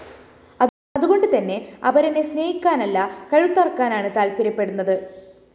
അതുകൊണ്ടു തന്നെ അപരനെ സ്‌നേഹിക്കാനല്ല കഴുത്തറക്കാനാണ് താല്‍പ്പര്യപ്പെടുന്നത്